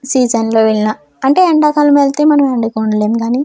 సీజన్లో ఇళ్ల అంటే ఎండా కాలంలో అయితే మనం ఎండకు ఉండలేం కానీ--